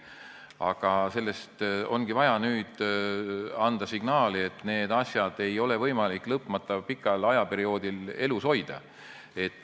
Aga nüüd ongi vaja anda signaal, et neid asju ei ole võimalik lõpmata pikal ajaperioodil elus hoida.